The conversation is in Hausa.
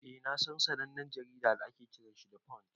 Eh na San wani sannanen jarida da ake Kiran 'the punch'